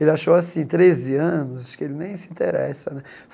Ele achou assim, treze anos, acho que ele nem se interessa né.